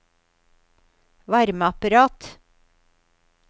varmeapparat